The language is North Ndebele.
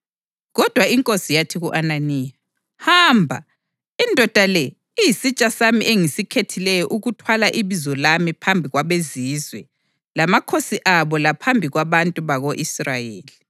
Kodwa iNkosi yathi ku-Ananiya, “Hamba! Indoda le iyisitsha sami engisikhethileyo ukuthwala ibizo lami phambi kwabeZizwe lamakhosi abo laphambi kwabantu bako-Israyeli.